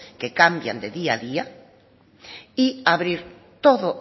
que cambian de día a día y abrir todo